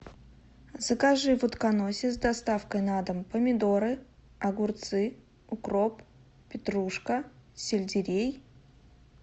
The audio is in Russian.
закажи в утконосе с доставкой на дом помидоры огурцы укроп петрушка сельдерей